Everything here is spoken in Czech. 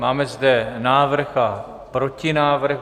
Máme zde návrh a protinávrh.